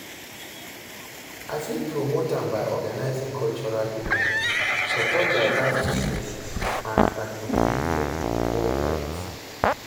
i fit promote am by organizing cultural events, support diverse businesses and advocate for di equal rights.